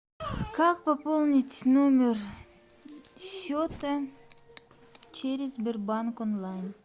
как пополнить номер счета через сбербанк онлайн